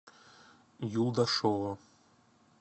юлдашева